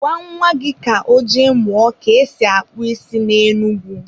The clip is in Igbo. Gwa nwa gị ka ọ jee mụọ ka esi akpụ isi na Enugu.